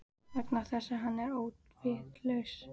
Vegna þess að hann er óvitlaus.